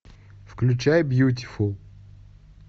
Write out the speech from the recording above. включай бьютифул